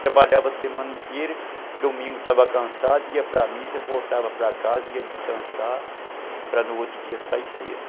Trabalhava a semana inteira, domingo estava cansado, ia para a missa, voltava para casa, ia descansar para no outro dia sair cedo.